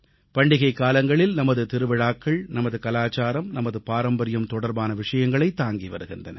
பண்டிகைக் காலங்களில் நமது திருவிழாக்கள் நமது கலாச்சாரம் நமது பாரம்பரியம் தொடர்பான விஷயங்களைத் தாங்கி வருகின்றன